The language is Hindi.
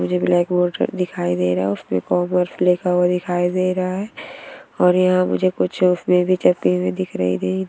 मुझे ब्लैक बोर्ड दिखाई दे रहा है और उसपे कॉमर्स लिखा हुआ दिखाई दे रहा है और यहां मुझे कुछ तस्वीर भी चिपके हुए दिखाई रही--